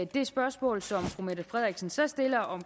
det spørgsmål som fru mette frederiksen så stiller om